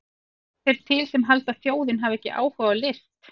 Svo eru þeir til sem halda að þjóðin hafi ekki áhuga á list!